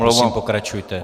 Prosím, pokračujte.